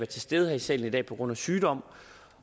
til stede i salen i dag på grund af sygdom